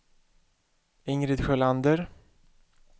Ingrid Sjölander